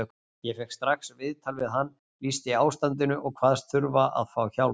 Ég fékk strax viðtal við hann, lýsti ástandinu og kvaðst þurfa að fá hjálp.